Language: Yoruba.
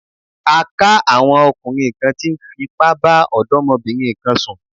A ká àwọn ọkùnrin kan tí ń fipá bá ọ̀dọ́mọbìnrin kan sùn.